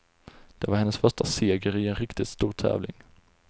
Det var hennes första seger i en riktigt stor tävling.